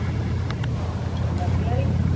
ਲਾਟੀ ਆਲੀ।